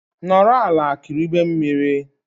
Nọrọ ala kiribe mmiri